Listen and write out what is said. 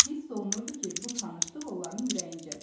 Hiss olunurdu ki, bu tanışlıq onların ürəyincədir.